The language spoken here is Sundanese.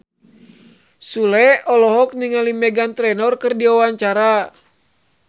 Sule olohok ningali Meghan Trainor keur diwawancara